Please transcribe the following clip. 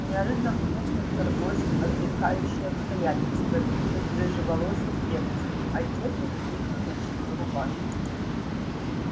неожиданно в кухню вторглось отвлекающее обстоятельство в виде рыжеволосой девочки одетой в длинную ночную рубашку